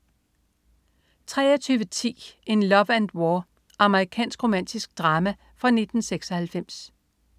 23.10 In Love and War. Amerikansk romantisk drama fra 1996